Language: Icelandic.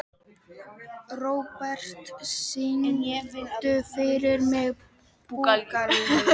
Robert, syngdu fyrir mig „Búkalú“.